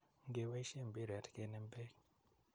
ngebaishe mbireet kenem beek.